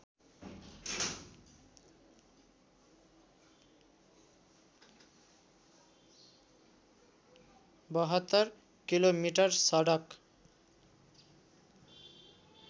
७२ kilometre सडक